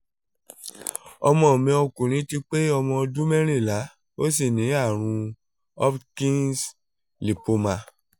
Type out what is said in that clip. ọmọ mi ọkùnrin ti pé ọmọ ọdún mẹ́rìnlá ó sì ní àrùn hodgkins lymphoma